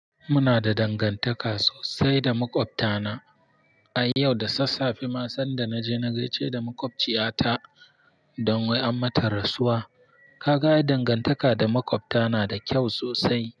Muna da dangantaka sosai da maƙwabta na. Ai yau da sassafe ma sanda na je na gaishe da maƙwabciya ta don wai an mata rasuwa. Ka ga dangantaka da maƙwabta na da kyau sosai.